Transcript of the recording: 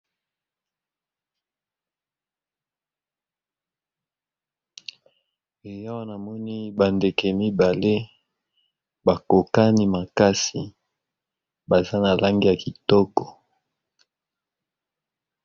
Awa namoni ba ndeke mibale bakokani makasi baza na langi ya kitoko.